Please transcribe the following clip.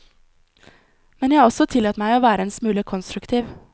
Men jeg har også tillatt meg å være en smule konstruktiv.